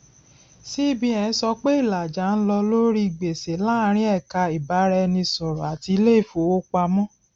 cbn sọ pé ìlàjà ń lọ lórí gbèsè láàrín ẹka ìbáraẹnisọrọ àti ilé ìfowópamọ